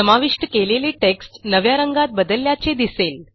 समाविष्ट केलेले टेक्स्ट नव्या रंगात बदलल्याचे दिसेल